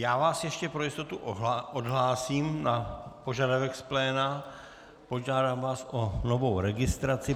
Já vás ještě pro jistotu odhlásím na požadavek z pléna, požádám vás o novou registraci.